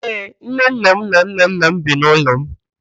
Ee, nnenna m na nnanna m bi n'ụlọ m.